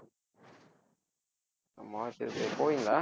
March போவீங்களா